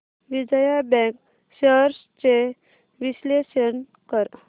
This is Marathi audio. विजया बँक शेअर्स चे विश्लेषण कर